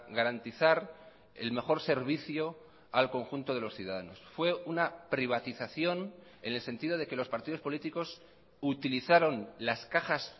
garantizar el mejor servicio al conjunto de los ciudadanos fue una privatización en el sentido de que los partidos políticos utilizaron las cajas